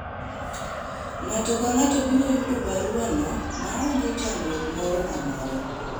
ng'ato ka ng'ato biro yudo barua no maonge chandruok moro amora